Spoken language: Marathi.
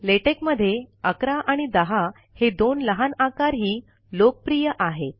लेटेक मधे अकरा आणि दहा हे दोन लहान आकारही लोकप्रिय आहेत